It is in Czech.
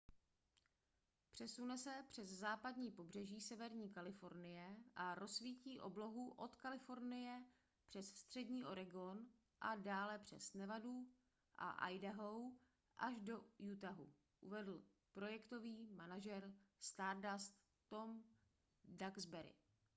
přesune se přes západní pobřeží severní kalifornie a rozsvítí oblohu od kalifornie přes střední oregon a dále přes nevadu a idaho až do utahu uvedl projektový manažer stardust tom duxbury